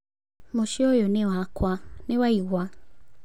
Mũcĩĩ ũyũ nĩ wakwa, nĩ waigua.